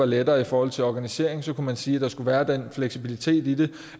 lettere i forhold til organiseringen kunne man sige at der skulle være den fleksibilitet i det